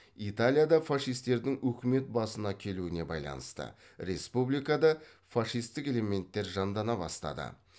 италияда фашистердің өкімет басына келуіне байланысты республикада фашистік элементтер жандана бастады